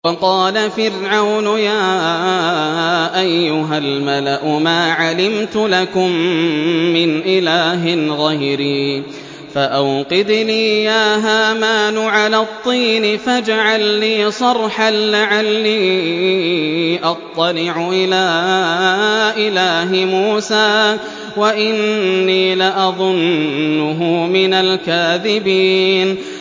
وَقَالَ فِرْعَوْنُ يَا أَيُّهَا الْمَلَأُ مَا عَلِمْتُ لَكُم مِّنْ إِلَٰهٍ غَيْرِي فَأَوْقِدْ لِي يَا هَامَانُ عَلَى الطِّينِ فَاجْعَل لِّي صَرْحًا لَّعَلِّي أَطَّلِعُ إِلَىٰ إِلَٰهِ مُوسَىٰ وَإِنِّي لَأَظُنُّهُ مِنَ الْكَاذِبِينَ